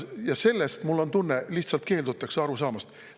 Ja sellest, mul on tunne, lihtsalt keeldutakse aru saamast.